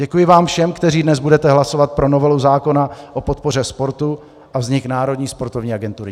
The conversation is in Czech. Děkuji vám všem, kteří dnes budete hlasovat pro novelu zákona o podpoře sportu a vznik Národní sportovní agentury.